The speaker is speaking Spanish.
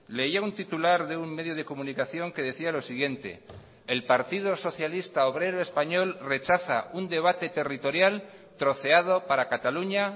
leía un titular de un medio de comunicación que decía lo siguiente el partido socialista obrero español rechaza un debate territorial troceado para cataluña